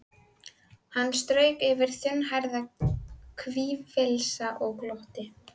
Hann strauk yfir þunnhærðan hvirfilinn og glotti.